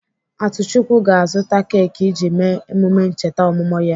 Atuchukwu ga-azụta keki iji mee emume ncheta ọmụmụ ya.